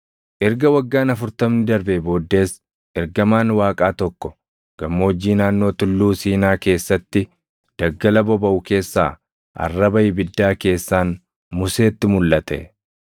“Erga waggaan afurtamni darbee booddees ergamaan Waaqaa tokko gammoojjii naannoo Tulluu Siinaa keessatti daggala bobaʼu keessaa arraba ibiddaa keessaan Museetti mulʼate.